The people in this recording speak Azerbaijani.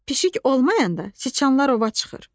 Pişik olmayanda siçanlar ova çıxır.